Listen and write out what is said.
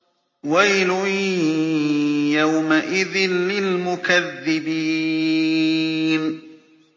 وَيْلٌ يَوْمَئِذٍ لِّلْمُكَذِّبِينَ